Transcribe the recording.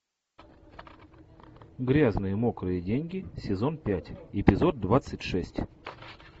грязные мокрые деньги сезон пять эпизод двадцать шесть